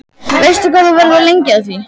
Veistu hvað þú verður lengi að því?